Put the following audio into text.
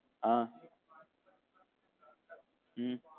ஆஹ் உம்